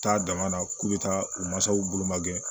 Taa dama na k'u bɛ taa u mansaw bolo ma kɛ